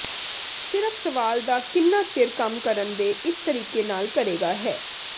ਸਿਰਫ ਸਵਾਲ ਦਾ ਕਿੰਨਾ ਚਿਰ ਕੰਮ ਕਰਨ ਦੇ ਇਸ ਤਰੀਕੇ ਨਾਲ ਕਰੇਗਾ ਹੈ